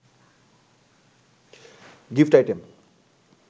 gift item